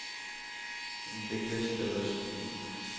Hun fikk lyst til å snu.